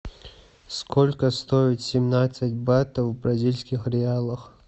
сколько стоит семнадцать батов в бразильских реалах